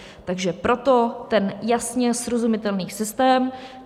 Takže proto ten jasně srozumitelný systém.